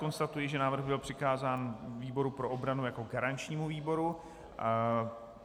Konstatuji, že návrh byl přikázán výboru pro obranu jako garančnímu výboru.